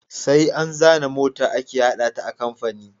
Sai an zana mota ake hada ta a kamfani